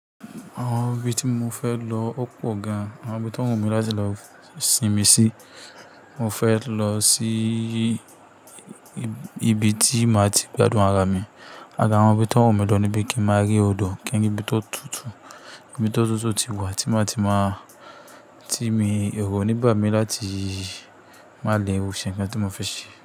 Àwọn ibi tí mo fẹ́ lọ ó pọ̀ gan-an. Àwọn ibi tó wù mí láti lọ sinmi sí, mo fẹ́ lọ síi ibi tí màá ti gbádùn ara mi. Àra àwọn ibi tó wù mí lọ níbí kí n máa rí odò, kí n rí ibi tó tútù, ibi tó tútù tí wà tí màá ti máa ti mi eru o níbà mí láti máa le ṣẹ̀ nǹkan tí mo fẹ́ ṣe.